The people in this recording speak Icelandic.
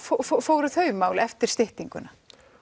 fóru þau mál eftir styttinguna